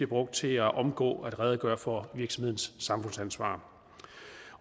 brugt til at omgå at redegøre for virksomhedens samfundsansvar